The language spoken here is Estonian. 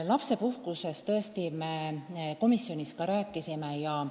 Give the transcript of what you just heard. Lapsepuhkusest tõesti me rääkisime ka komisjonis.